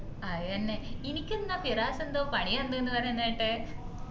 അതന്നെ ഇനിക്കെന്താ ഫിറാസ് എന്തോ പണി തന്ന്ന്ന് പറയിന്ന്കേട്ടെ